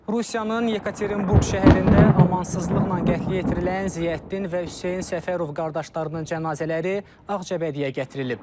Rusiyanın Yekaterinburq şəhərində amansızlıqla qətlə yetirilən Ziyəddin və Hüseyn Səfərov qardaşlarının cənazələri Ağcabədiyyə gətirilib.